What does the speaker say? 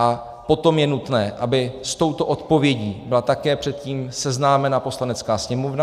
A potom je nutné, aby s touto odpovědí byla také předtím seznámena Poslanecká sněmovna.